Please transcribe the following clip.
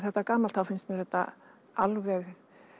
þetta gamalt þá finnst mér þetta alveg